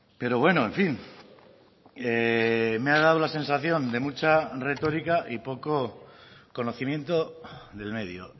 pero bueno en fin me ha dado la sensación de mucha retórica y poco conocimiento del medio